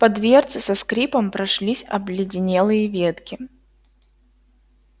по дверце со скрипом прошлись обледенелые ветки